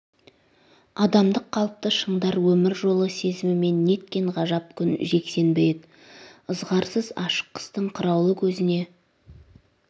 адамдық қалыпты шыңдар өмір жолы сезімімен неткен ғажап күн жексенбі ед ызғарсыз ашық қыстың қыраулы көзне